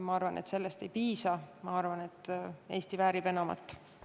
Ma arvan, et sellest ei piisa, ma arvan, et Eesti väärib enamat.